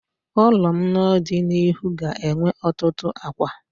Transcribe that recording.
Ụlọ m n'ọdịnihu ga-enwe ọtụtụ akwa.